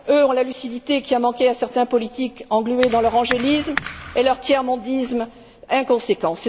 Eux ont la lucidité qui a manqué à certains politiques englués dans leur angélisme et leur tiers mondisme inconséquents.